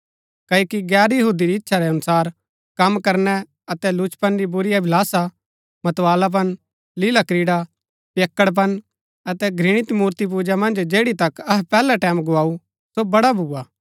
क्ओकि गैर यहूदी री इच्छा रै अनुसार कम करनै अतै लुचपन री बुरी अभिलाषा मतवालापन लीलाक्रीड़ा पियक्कड़पन अतै घृणित मूर्तिपूजा मन्ज जैड़ी तक अहै पैहलै टैमं गुआऊ सो बड़ा भूआ